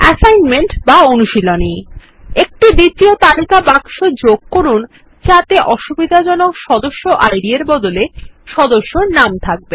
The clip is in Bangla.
অ্যাসাইনমেন্ট বা অনুশীলনী একটি দ্বিতীয় তালিকা বাক্স যোগ করুন যাতে অসুবিধাজনক সদস্য ID এর বদলে সদস্যের নাম থাকে